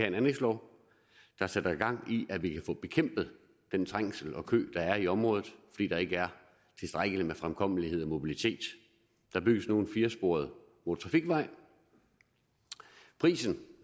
en anlægslov der sætter gang i at vi kan få bekæmpet den trængsel og kø der er i området fordi der ikke er tilstrækkeligt med fremkommelighed og mobilitet der bygges nu en firesporet motortrafikvej prisen